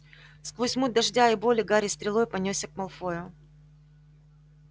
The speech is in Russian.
сквозь муть дождя и боли гарри стрелой понёсся к малфою